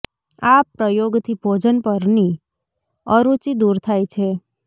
આ પ્રયોગથી ભોજન પરની અરુચિ દૂર થાય છે